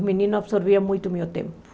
Os meninos absorviam muito o meu tempo.